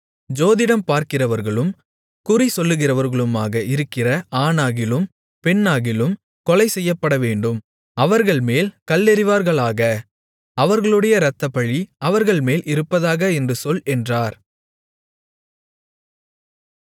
ஜோதிடம் பார்க்கிறவர்களும் குறிசொல்லுகிறவர்களுமாக இருக்கிற ஆணாகிலும் பெண்ணாகிலும் கொலைசெய்யப்படவேண்டும் அவர்கள்மேல் கல்லெறிவார்களாக அவர்களுடைய இரத்தப்பழி அவர்கள்மேல் இருப்பதாக என்று சொல் என்றார்